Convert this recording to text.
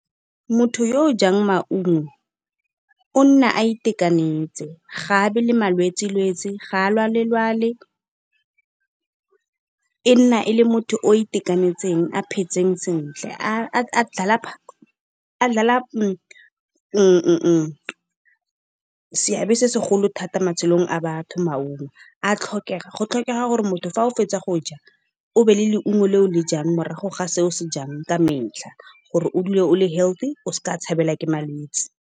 Motho yo o jang maungo o nna a itekanetse ga nne le malwetsi-lwetsi ga a lwale-lwale. E nna e le motho o itekanetseng a phetseng sentle, a dlala seabe se segolo thata mo matshelong a batho maungo. A tlhokega, go tlhokega gore motho fa o fetsa go ja obe le leungo le o le jang morago ga se o se jang ka metlha, gore o dule o le healthy o se ke wa tshabelwa ke malwetse.